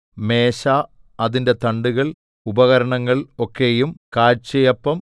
മേശ അതിന്റെ തണ്ടുകൾ ഉപകരണങ്ങൾ ഒക്കെയും കാഴ്ചയപ്പം